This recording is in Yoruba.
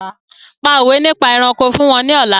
Pa òwé nípa ẹranko fún wọn ní ọ̀la!